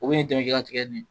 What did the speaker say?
U bɛ ni dɛmɛ ki ka tigɛ di.